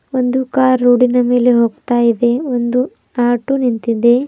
ಒಂದು ಕಾರ್ ರೊಡಿನ ಮೇಲೆ ಹೋಗ್ತಾ ಇದೆ ಒಂದು ಆಟೋ ನಿಂತಿದೆ.